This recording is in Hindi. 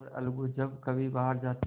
और अलगू जब कभी बाहर जाते